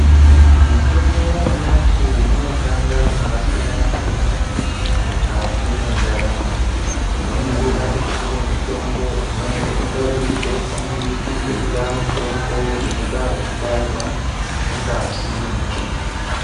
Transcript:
Mitombo yanyamashi inoshanda zvakasiyana-siyana mukati mwendaramo. Tinoningira kuti kune mitombo imwe inoitwa zvekudzodzwa, koita mitombo inoita zvekubairwa mungazi mwemuntu.